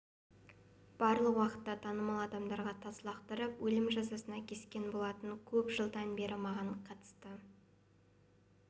барлық уақытта танымал адамдарға тас лақтырып өлім жазасына кескен болатын көп жылдан бері маған қатысты